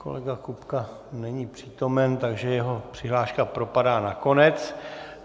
Kolega Kupka není přítomen, tak jeho přihláška propadá na konec.